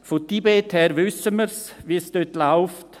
Vom Tibet wissen wir, wie es dort läuft.